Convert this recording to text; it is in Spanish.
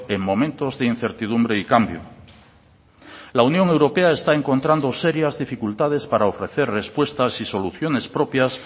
en momentos de incertidumbre y cambio la unión europea está encontrando serias dificultades para ofrecer respuestas y soluciones propias